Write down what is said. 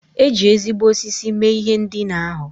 E ji ezigbo osisi mee ihe ndina ahụ.